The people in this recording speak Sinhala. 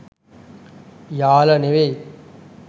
යාල නෙවෙයි